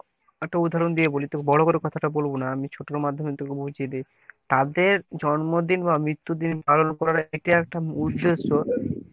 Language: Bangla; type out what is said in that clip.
একটা উদাহরণ দিয়ে বলি তোকে বড়ো করে কথাটা বলবো না আমি ছোটর মাধ্যমে তোকে বলছি। যে তাদের জন্মদিন বা মৃত্যু দিন পালন করা এটি একটা উদেশ্য